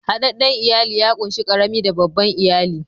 Hadadden iyali ya kunshi karami da babban iyali.